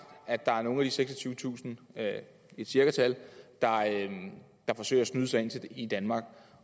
at der er nogle af de seksogtyvetusind det er et cirkatal der forsøger at snyde sig ind i danmark